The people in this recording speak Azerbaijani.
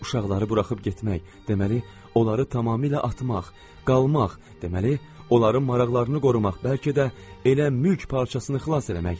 Uşaqları buraxıb getmək, deməli, onları tamamilə atmaq, qalmaq, deməli, onların maraqlarını qorumaq, bəlkə də elə mülk parçasını xilas eləmək.